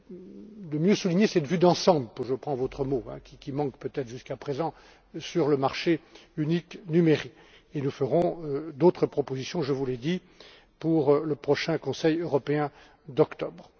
venir de mieux souligner cette vue d'ensemble je reprends votre mot qui manque peut être, jusqu'à présent, sur le marché unique numérique. Nous ferons d'autres propositions, je vous l'ai dit, pour le prochain Conseil européen d'octobre.